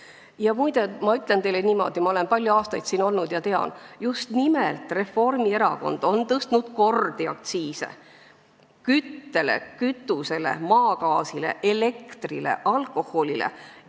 Ja muide, ma ütlen teile niimoodi – olen palju aastaid siin olnud ja tean –, et just nimelt Reformierakond on tõstnud kordi aktsiise küttele, kütusele, maagaasile, elektrile, alkoholile.